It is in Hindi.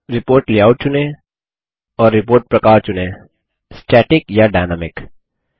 रिपोर्ट लेआउट चुनें और रिपोर्ट प्रकार चुनें स्टैटिक या डायनामिक